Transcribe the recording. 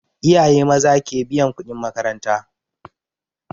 Iyaye maza ke biyan kuɗin makaranta